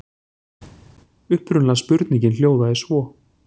Upprunalega spurningin hljóðaði svo: